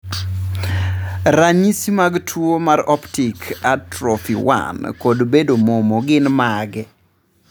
Ranyisi mag tuwo mar Optic atrophy 1 kod bedo momo gin mage?